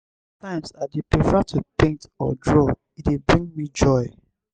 sometimes i dey prefer to paint or draw; e dey bring me joy.